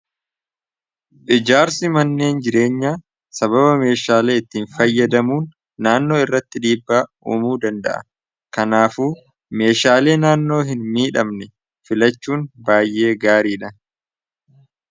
phijaarsi manneen jireenya sababa meeshaalei ittiin fayyadamuun naannoo irratti dhiibbaa uumuu danda'a kanaafu meeshaalee naannoo hin miidhamne filachuun baay'ee gaarii dha